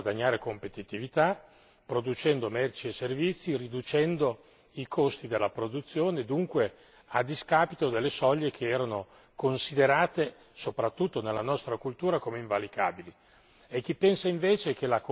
Il primo è quello di chi vuole guadagnare competitività producendo merci e servizi riducendo i costi di produzione, dunque a discapito delle soglie che erano considerate, soprattutto nella nostra cultura, come invalicabili.